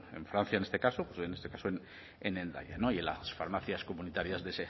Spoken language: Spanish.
en francia en este caso en este caso en hendaya y en las farmacias comunitarias de